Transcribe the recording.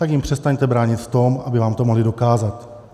Tak jim přestaňte bránit v tom, aby vám to mohli dokázat.